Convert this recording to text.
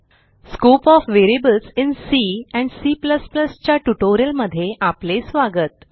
scope of variables in C and C च्या ट्युटोरियलमध्ये आपले स्वागत